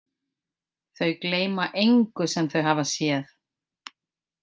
Þau gleyma engu sem þau hafa séð.